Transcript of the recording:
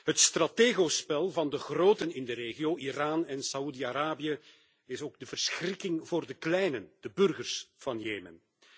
Het strategospel van de groten in de regio, Iran en Saoedi Arabië, is ook de verschrikking voor de kleinen, de burgers van Jemen.